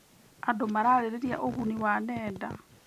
Andũ mararĩrĩria ũguni wa nenda.